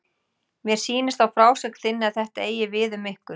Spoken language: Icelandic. Mér sýnist á frásögn þinni að þetta eigi við um ykkur.